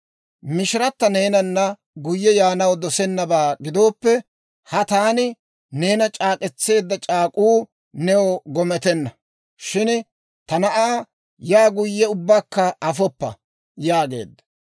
Mishirata neenana guyye yaanaw dosennabaa gidooppe, ha taani neena c'aak'k'etseedda c'aak'uu new gometenna; shin ta na'aa yaa guyye ubbakka afoppa» yaageedda.